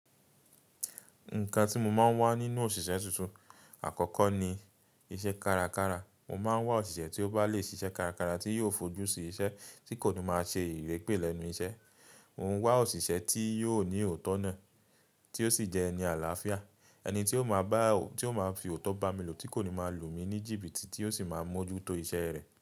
Nǹkan tí mo máa ń wá nínú òṣìṣẹ́ tuntun, àkọ́kọ́ ni iṣẹ́ kárakára. Mo máa ń wá òṣìṣẹ́ tí ó bá le ṣiṣẹ́ kárakára tí yóò fojú sí iṣẹ́, tí kò ní máa ṣe ìrẹ́gbẹ́ lẹ́nu iṣẹ́. Mo ń wá òṣìṣẹ́ tí yóò ní òótọ́ náà, tí ó sì jẹ́ ẹni àlàáfíà. Ẹni tí ó máa bá, tí ó máa fi òótọ́ bá mi lò, tí kò ní máa lù mí ní jìbìtì tí ó sì máa mójú tó iṣẹ́ rẹ̀